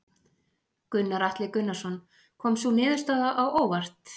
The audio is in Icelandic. Gunnar Atli Gunnarsson: Kom sú niðurstaða á óvart?